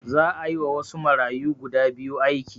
Za a yiwa wasu marayu guda biyu aiki